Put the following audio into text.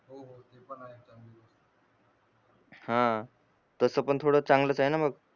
हा तस पण थोड चांगलच आहे ना मग